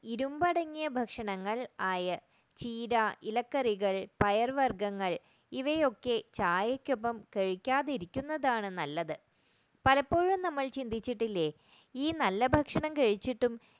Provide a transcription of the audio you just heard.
ഇരുമ്പടങ്ങിയ ഭക്ഷണങ്ങൾ iron ചീര ഇലക്കറികൾ പയർ വർഗ്ഗങ്ങൾ ഇവയൊക്കെ ചായക്കൊപ്പം കഴിക്കാതിരിക്കുന്നതാണ് നല്ലത് പലപ്പോഴും നമ്മൾ ചിന്തിച്ചിട്ടില്ല ഈ നല്ല ഭക്ഷണഠ കഴിച്ചിട്ടും